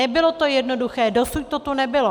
Nebylo to jednoduché, dosud to tu nebylo.